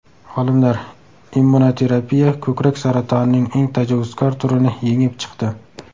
Olimlar: immunoterapiya ko‘krak saratonining eng tajovuzkor turini yengib chiqdi.